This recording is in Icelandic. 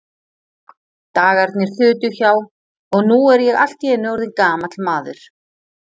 Dagarnir þutu hjá, og nú er ég allt í einu orðinn gamall maður.